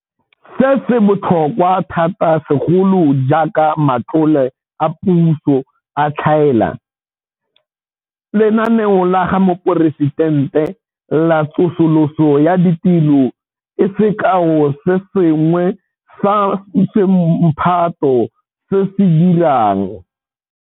Se, se botlhokwa thata segolo jaaka matlole a puso a tlhaela. Lenaneo la ga Moporesi-tente la Tsosoloso ya Ditiro ke sekao se sengwe sa semphato se se dirang.